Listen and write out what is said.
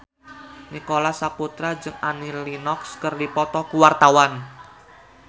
Nicholas Saputra jeung Annie Lenox keur dipoto ku wartawan